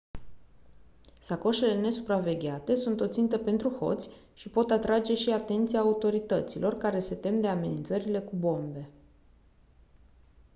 sacoșele nesupravegheate sunt o țintă pentru hoți și pot atrage și atenția autorităților care se tem de amenințările cu bombe